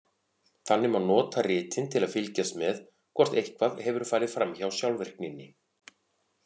Þannig má nota ritin til að fylgjast með hvort eitthvað hefur farið fram hjá sjálfvirkninni.